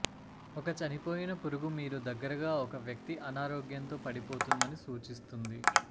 ఒక చనిపోయిన పురుగు మీరు దగ్గరగా ఒక వ్యక్తి అనారోగ్యంతో పడిపోతుందని సూచిస్తుంది